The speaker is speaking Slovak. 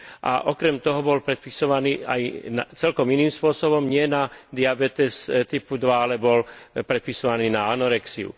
A okrem toho bol predpisovaný aj celkom iným spôsobom, nie na diabetes typu 2, ale bol predpisovaný na anorexiu.